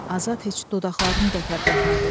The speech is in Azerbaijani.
Azad heç dodaqlarını da tərpətmədi.